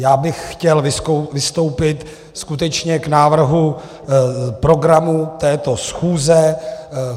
Já bych chtěl vystoupit skutečně k návrhu programu této schůze.